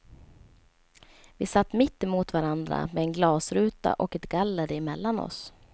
Vi satt mitt emot varandra med en glasruta och ett galler emellan oss.